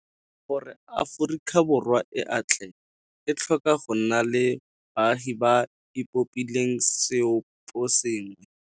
Gore Aforika Borwa e atlege e tlhoka go nna le baagi ba ba ipopileng seoposengwe